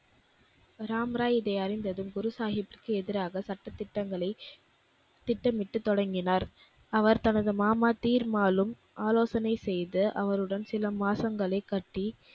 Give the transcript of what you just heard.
ராம்ராய் இதை அறிந்ததும் குருசாகிப்பிற்க்கு எதிராக சட்ட திட்டங்களை, திட்டமிட்டு தொடங்கினார். அவர் தனது மாமா தீர்மாலும் ஆலோசனை செய்து அவருடன் சில மாசங்களைக் கட்டி